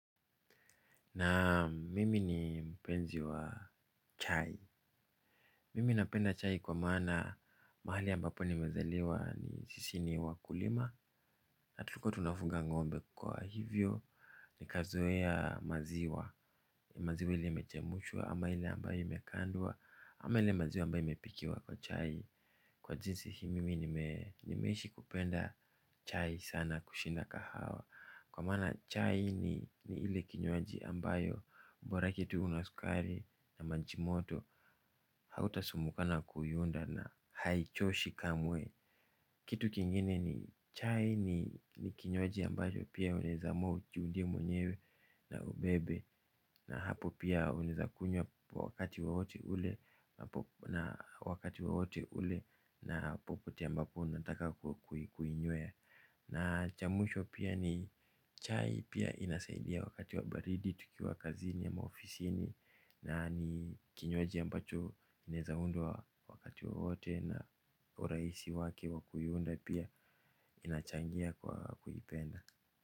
Naam mimi ni mpenzi wa chai. Mimi napenda chai kwa maana mahali ambapo nimezaliwa sisi ni wakulima. Na tulikuwa tunafuga ngombe kwa hivyo. Nikazoea maziwa. Maziwa ile imechemshwa ama ile ambayo imekandwa. Ama ile maziwa ambayo imepikiwa kwa chai. Kwa jinsi hii mimi nimeishi kupenda chai sana kushinda kahawa. Kwa maana chai ni ni ile kinywaji ambayo bora kitu unasukari na maji moto. Hauta sumbukana kuinda na haichoshi kamwe. Kitu kingine ni chai ni kinywaji ambacho pia unaweza amua ujiundie mwenyewe na ubebe. Na hapo pia unaweza kunywa kwa wakati wowote ule na popote ambapo unataka kuinywea. Na cha mwisho pia ni chai pia inasaidia wakati wa baridi tukiwa kazini ama ofisini na ni kinywaji ambacho inaweza undwa wakati wowote na urahisi wake wa kuiunda pia inachangia kwa kuipenda.